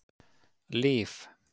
Líf